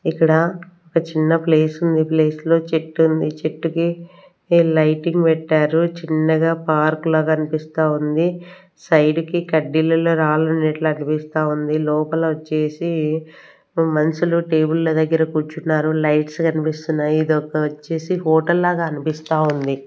ఇక్కడ ఒక చిన్న ప్లేసుంది ప్లేస్ లో చెట్టుంది చెట్టుకి లైటింగ్ పెట్టారు చిన్నగా పార్క్ లాగా అన్పిస్తా ఉంది సైడి కి కడ్డీలలో రాళ్లున్నట్లు అనిపిస్తా ఉంది లోపలొచ్చేసి మన్షులు టేబుల్ల దగ్గర కూర్చున్నారు లైట్స్ కనిపిస్తున్నాయి ఇదొక్కొచ్చేసి హోటల్ లాగా అనిపిస్తా వుంది.